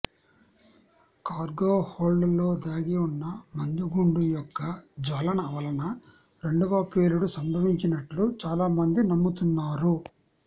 cargo హోల్డ్లో దాగి ఉన్న మందుగుండు యొక్క జ్వలన వలన రెండవ పేలుడు సంభవించినట్లు చాలామంది నమ్ముతున్నారు